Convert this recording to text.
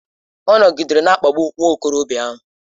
Ọ nọgidere na-akpagbu nwa okorobịa ahụ.